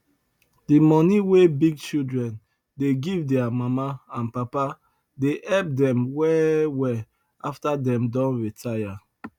the money wey big children dey give their mama and papa dey help them well well after dem don retire